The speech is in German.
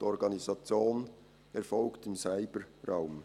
Die Organisation erfolgt im Cyberraum.